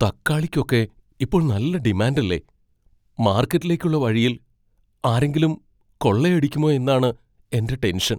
തക്കാളിക്കൊക്കെ ഇപ്പോൾ നല്ല ഡിമാൻഡ് അല്ലേ, മാർക്കറ്റിലേക്കുള്ള വഴിയിൽ ആരെങ്കിലും കൊള്ളയടിക്കുമോ എന്നാണ് എൻ്റെ ടെൻഷൻ.